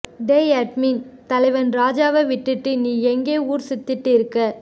டேய் அட்மின் தலைவன் ராஜாவ விட்டுட்டு நீ எங்க ஊர் சுத்திட்டு இருக்க